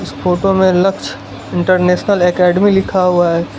Photo में Lakshya international academy लिखा हुआ है।